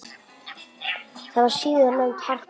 Það var síðar nefnt Harpa.